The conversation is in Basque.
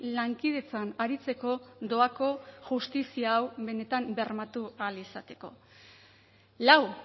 lankidetzan aritzeko doako justizia hau benetan bermatu ahal izateko lau